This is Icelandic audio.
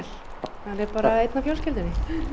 hann er bara einn af fjölskyldunni